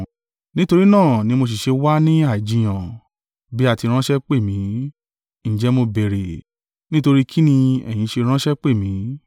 Nítorí náà ni mo sì ṣe wá ní àìjiyàn, bí a ti ránṣẹ́ pè mi, ǹjẹ́ mo béèrè, nítorí kín ní ẹ̀yin ṣe ránṣẹ́ pè mi?”